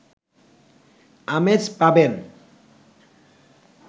আমেজ পাবেন